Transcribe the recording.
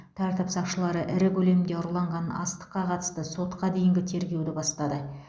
тәртіп сақшылары ірі көлемде ұрланған астыққа қатысты сотқа дейінгі тергеуді бастады